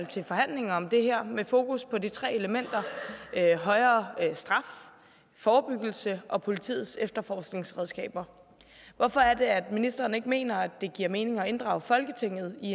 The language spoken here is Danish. til forhandlinger om det her med fokus på de tre elementer højere straf forebyggelse og politiets efterforskningsredskaber hvorfor er det at ministeren ikke mener at det giver mening at inddrage folketinget i